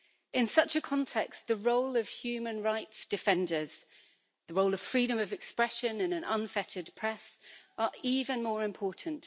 In such a context, the role of human rights defenders, the role of freedom of expression in an unfettered press, are even more important.